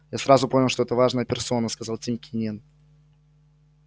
я сразу понял что это важная персона сказал тим кинен